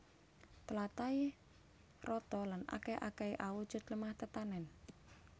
Tlatahé rata lan akèh akèhé awujud lemah tetanèn